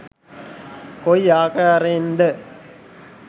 කොයි ආකාරයෙන්ද?